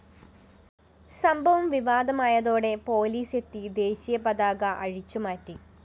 സംഭവം വിവാദമായതോടെ പോലീസെത്തി ദേശീയ പതാക അഴിച്ചുമാറ്റി